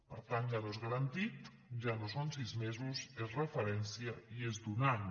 per tant ja no és garantit ja no són sis mesos és referència i és d’un any